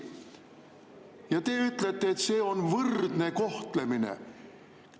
Ja te ütlete, et see on võrdne kohtlemine!